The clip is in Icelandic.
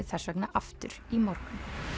þess vegna aftur í morgun